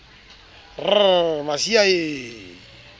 r j r masiea e